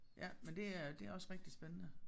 Ja men det er det også rigtig spændende